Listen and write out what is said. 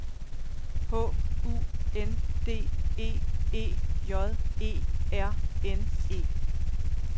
H U N D E E J E R N E